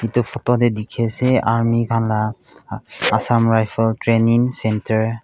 itu photo te dikhi ase army khan laga assam rifle training centre .